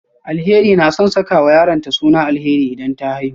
Alheri na son sakawa yaronta suna Alheri idan ta haihu